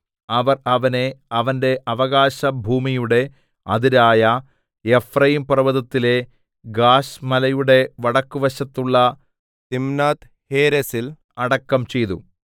അവർ അവനെ അവന്റെ അവകാശഭൂമിയുടെ അതിരായ എഫ്രയീംപർവ്വതത്തിലെ ഗാശ് മലയുടെ വടക്കുവശത്തുള്ള തിമ്നാത്ത്ഹേരെസിൽ അടക്കം ചെയ്തു